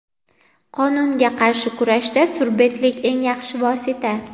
Qonunga qarshi kurashda surbetlik eng yaxshi vosita.